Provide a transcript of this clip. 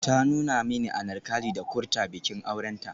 Ta nuna min Anarkali da Kurta bikin aurenta.